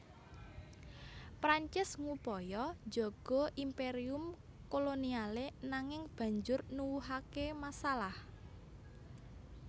Prancis ngupaya njaga imperium kolonialé nanging banjur nuwuhaké masalah